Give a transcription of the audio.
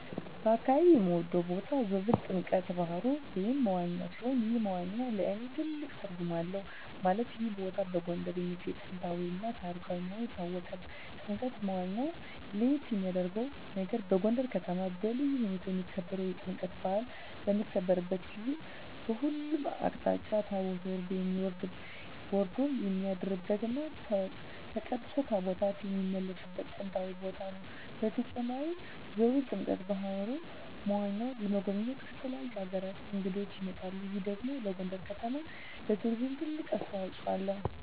በአካባቢየ የምወደው ቦታ ዞብል ጥምቀተ ባህሩ (መዋኛ) ሲሆን ይህ መዋኛ ለእኔ ትልቅ ትርጉም አለው ማለትም ይህ ቦታ በጎንደር የሚገኝ ጥንታዊ እና ታሪካዊ መሆኑ ይታወቃል። ጥምቀተ መዋኛው ለየት የሚያረገው ነገር በጎንደር ከተማ በልዩ ሁኔታ የሚከበረው የጥምቀት በአል በሚከበርበት ጊዜ በሁሉም አቅጣጫ ታቦት ወርዶ የሚያድርበት እና ተቀድሶ ታቦታት የሚመለስበት ጥንታዊ ቦታ ነው። በተጨማሪም ዞብል ጥምቀተ በሀሩ (መዋኛው) ለመጎብኘት ከተለያዩ አገራት እንግዶች ይመጣሉ ይህ ደግሞ ለጎንደር ከተማ ለቱሪዝም ትልቅ አስተዋጽኦ አለው።